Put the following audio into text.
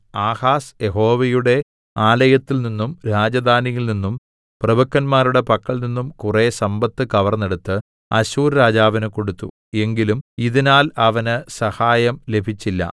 Ahaz യഹോവയുടെ ആലയത്തിൽനിന്നും രാജധാനിയിൽനിന്നും പ്രഭുക്കന്മാരുടെ പക്കൽനിന്നും കുറെ സമ്പത്ത് കവർന്നെടുത്ത് അശ്ശൂർ രാജാവിന് കൊടുത്തു എങ്കിലും ഇതിനാൽ അവന് സഹായം ലഭിച്ചില്ല